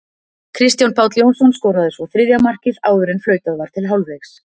Kristján Páll Jónsson skoraði svo þriðja markið áður en flautað var til hálfleiks.